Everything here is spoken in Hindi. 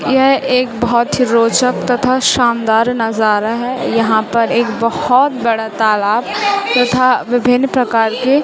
यह एक बहोत ही रोचक तथा शानदार नजारा है यहां पर एक बहोत बड़ा तालाब तथा विभिन्न प्रकार के--